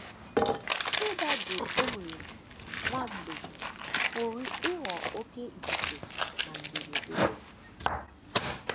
Ịda jụụ e nwere nwa mgbe pụrụ ịghọ oké ifufe na mberede.